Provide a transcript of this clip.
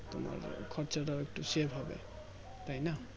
তোমার খরচ টা একটু Save হবে তাই না